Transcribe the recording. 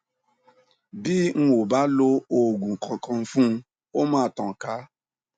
bi n ò bá lo òògùn kankan fun ó máa tàn ká